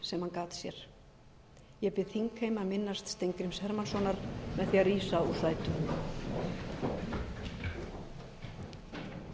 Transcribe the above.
hann gat sér ég bið þingheim að minnast steingríms hermannssonar með því að rísa úr sætum